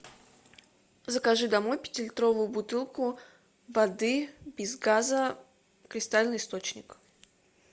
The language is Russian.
закажи домой пятилитровую бутылку воды без газа кристальный источник